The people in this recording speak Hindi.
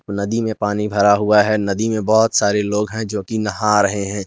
नदी में पानी भरा हुआ है नदी में बहोत सारे लोग हैं जोकि नहा रहे हैं।